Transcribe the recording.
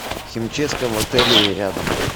химчистка в отеле рядом